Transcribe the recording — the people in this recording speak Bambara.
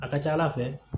A ka ca ala fɛ